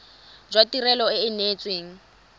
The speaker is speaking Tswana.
jwa tirelo e e neetsweng